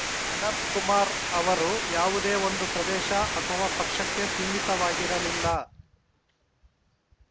ಅನಂತಕುಮಾರ್‌ ಅವರು ಯಾವುದೋ ಒಂದು ಪ್ರದೇಶ ಅಥವಾ ಪಕ್ಷಕ್ಕೆ ಸೀಮಿತವಾಗಿರಲಿಲ್ಲ